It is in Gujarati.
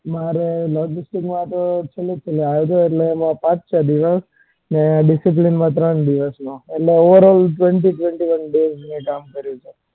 મારે logistic માં હું છેલ્લા આવ્યો હતો એટલે એમાં પાંચ-છ દિવસ ન discipline માં ત્રણ દિવસ એટલે over-all twenty-twenty-one days કામ કર્યું છે.